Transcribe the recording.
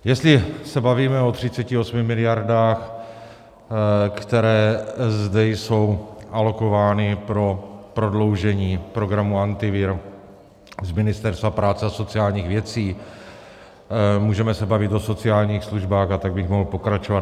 Jestli se bavíme o 38 miliardách, které zde jsou alokovány pro prodloužení programu Antivirus z Ministerstva práce a sociálních věcí, můžeme se bavit o sociálních službách, a tak bych mohl pokračovat.